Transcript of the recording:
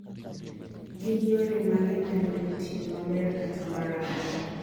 gin yore mage mane otiyo maber kata marach